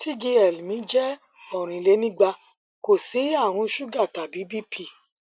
tgl mi jẹ orinlenigba kò sí àrùn suga tàbí bp